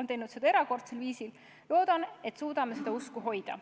on teinud seda erakordsel viisil, loodan, et suudame seda usku hoida.